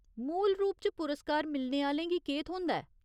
मूल रूप च पुरस्कार मिलने आह्‌लें गी केह् थ्होंदा ऐ ?